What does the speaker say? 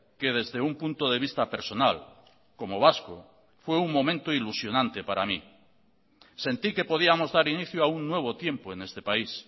que desde un punto de vista personal como vasco fue un momento ilusionante para mí sentí que podíamos dar inicio a un nuevo tiempo en este país